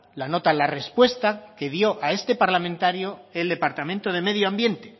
la nota la respuesta que dio a este parlamentario el departamento de medio ambiente